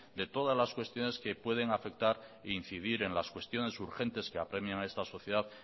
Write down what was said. de todas las cuestiones que pueden afectar e incidir en las cuestiones urgentes que apremien a esta sociedad